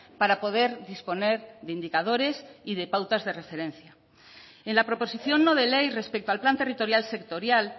para poder disponer de indicadores y de pautas de referencia en la proposición no de ley respecto al plan territorial sectorial